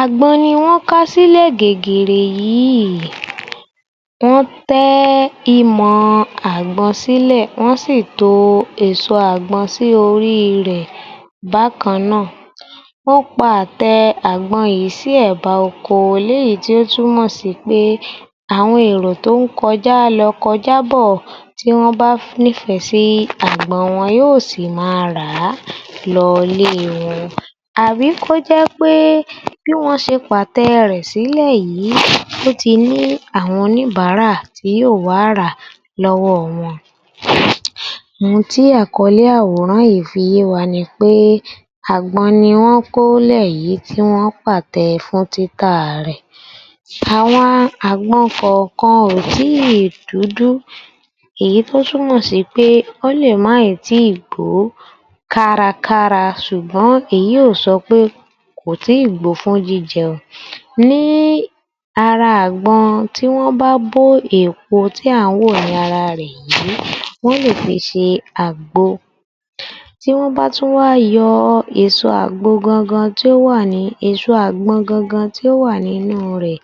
Àgbọn ni wọ́n ká sílẹ̀ gègèrè yìí, tán tẹ́ imọ̀ àgbọn sílẹ̀, wọ́n sì to èso àgbọn sí orí i rẹ̀ bákan náà. Wọ́n pa àtẹ àgbọn yìí sí ẹ̀ba oko lé yìí tó túmọ̀ sí pé àwọn èrò tó ń kọjá lọ, kọjá bọ̀ tí wọ́n bá nífẹ̀ẹ́ sí àgbọn wọn, wọn yóò sì máa rà á lọlé wọn. Àbí kó jẹ́ pé bí wọ́n ṣe pàtẹ rẹ̀ sílẹ̀ yìí, ó ti ní àwọn oníbàárà tí yóò wá ràá lọ́wọ́ wọn. Ohun tí àkọ́lé àwòrán yìí fi yé wa ni pé àgbọn ni wọ́n kó lẹ̀ yìí tí wọ́n pàtẹ fún títà rẹ̀. Àwọn àgbọn kọ̀ọ̀kan o tíì dúdú, èyí tó tún mọ̀ sí pé, ó lè má ì tíì gbóò kárakára ṣùgbọ́n èyí ò sọ pé kò tíì gbó fún jíjẹ. Ní ara àgbọn tí wọ́n bá bó èpo tí à ń wò ní ara rẹ̀ yìí, wọ́n lè fi ṣe àgbo. Tí wọ́n bá tún wá yọ èso àgbo gangan tí ó wà ní, èso àgbọn gangan tí ó wà nínú rẹ̀,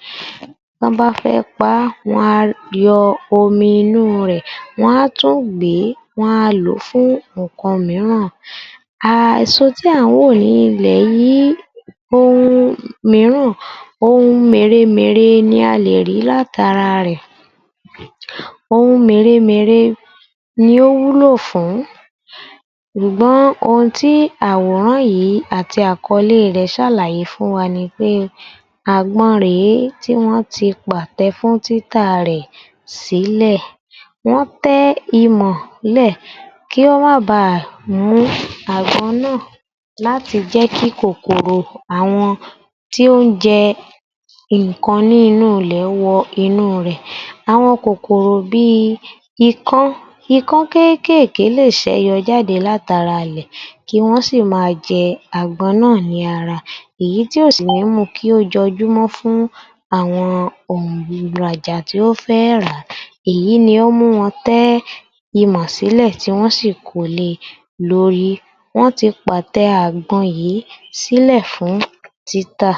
tán bá fẹ́ paá, wọ́n á yọ omi inú rẹ̀, wọ́n á tún gbèé, wọn a lòó fún nǹkan mìíràn. um èso tí à ń wò ní ilẹ̀ yìí, ohun mìíràn, ohun mèremère ni a lè rí látara rẹ̀. Ohun mèremère ni ó wúlò fún ṣùgbọ́n ohun tí àwòrán yìí àti àkọ́lé rẹ̀ ṣàlàyé fún wa ni pé àgbọn rèé tí wọ́n ti pàtẹ fún títà rẹ̀ sílẹ̀. Wọ́n tẹ́ imọ̀ lẹ̀ kí ó má bá a mú àgbọn náà láti jẹ́kí kòkòrò àwọn tí ó ń jẹ nǹkan ní inú ilẹ̀ wọ inú rẹ̀. Àwọn kòkòrò bí i ikán. Ikán kéékèèké lè ṣẹyọ jáde látara ilẹ̀ kí wọ́n sì máa jẹ àgbọn náà ní ara. Èyí tí ó sì ní mú kí ó jọjú mọ́ fún àwọn tí ó fẹ́ ràá. Èyí ni ó mú wọn tẹ́ imọ̀ sílẹ̀ tí wọ́n sì kole lórí. Wọ́n ti pàtẹ àgbọn yìí sílẹ̀ fún títà.